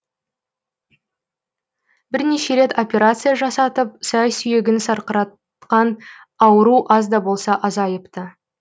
бірнеше рет операция жасатып сай сүйегін сырқыратқан ауру аз да болса азайыпты